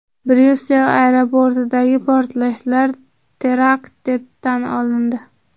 Bryussel aeroportidagi portlashlar terakt deb tan olindi.